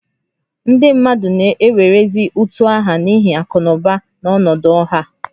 Ndị mmadụ na-ewerezi utu aha n'ihi akụ na ụba na ọnọdụ ọha